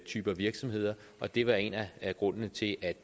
typer af virksomheder det var en af grundene til at